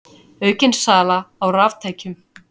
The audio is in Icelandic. Aukin sala á raftækjum